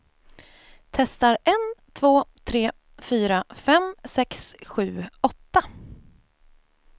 Testar en två tre fyra fem sex sju åtta.